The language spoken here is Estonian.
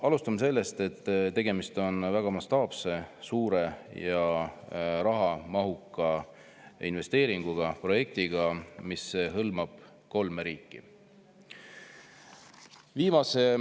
Alustame sellest, et tegemist on mastaapse, suure ja rahamahuka investeeringuga, projektiga, mis hõlmab kolme riiki.